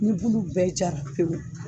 Ni bulu bɛɛ jara pewu